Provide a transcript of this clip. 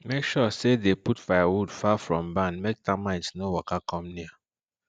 make sure say you dey put firewood far from barn make termite no waka come near